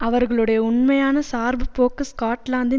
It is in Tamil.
அவர்களுடைய உண்மையான சார்புப் போக்கு ஸ்காட்லாந்தின்